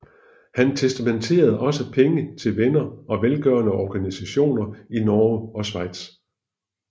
Han testamenterede også penge til venner og velgørende organisationer i Norge og Schweiz